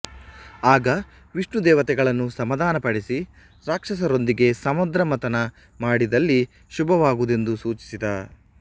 ಆಗ ವಿಷ್ಣು ದೇವತೆಗಳನ್ನು ಸಮಾಧಾನಪಡಿಸಿ ರಾಕ್ಷಸರೊಂದಿಗೆ ಸಮುದ್ರಮಥನ ಮಾಡಿದಲ್ಲಿ ಶುಭವಾಗುವುದೆಂದು ಸೂಚಿಸಿದ